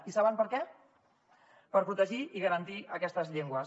i saben per què per protegir i garantir aquestes llengües